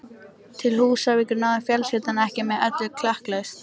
Til Húsavíkur náði fjölskyldan ekki með öllu klakklaust.